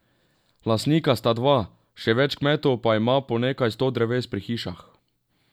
Lastnika sta dva, še več kmetov pa ima po nekaj sto dreves pri hišah.